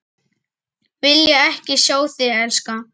Vilja ekki sjá þig elska.